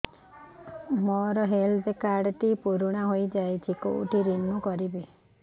ମୋ health card ଟି ପୁରୁଣା ହେଇଯାଇଛି କେଉଁଠି ରିନିଉ କରିବି